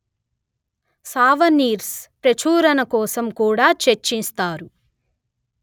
souvenirs ప్రచురణకోసం కూడా చర్చిస్తారు